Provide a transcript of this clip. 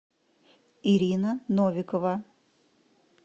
ирина новикова